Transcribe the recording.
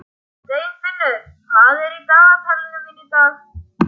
Steinfinnur, hvað er í dagatalinu mínu í dag?